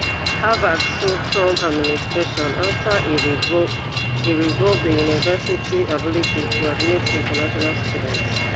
harvard sue trump administration afta e revoke e revoke di university ability to admit international students